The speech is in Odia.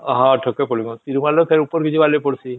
ହଁ ଠକେ ପଡ଼ିଗଲୁ ତିରୁମାଲା ରୁ ଫେର ଉପରକୁ ଯିବାକୁ ପଡୁଛେ